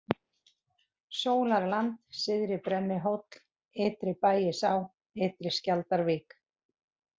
Sólarland, Syðri-Brennihóll, Ytri-Bægisá, Ytri-Skjaldarvík